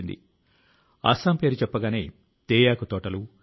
కావ్ అంటే ఎర్ర మట్టి